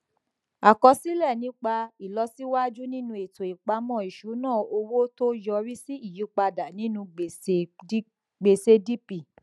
àkọsílẹ nípa ìlọsíwájú nínú ètò ìpamọ ìṣúnná owó tó yọrí sí ìyípadà nínú gbèsègdp